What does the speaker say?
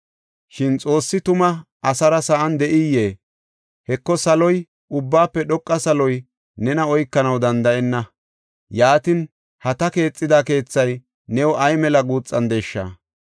“Shin Xoossi tuma, asara sa7an de7iyee? Heko, saloy, ubbaafe dhoqa saloy nena oykanaw danda7enna. Yaatin, ha ta keexida keethay new ay mela guuxandesha!